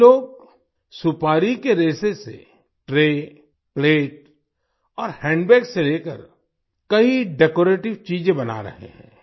ये लोग सुपारी के रेशे से ट्रे प्लेट और हैंडबैग से लेकर कई डेकोरेटिव चीजें बना रहे हैं